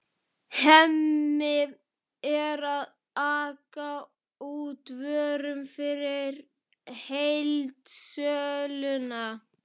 Hemmi er að aka út vörum fyrir heildsöluna.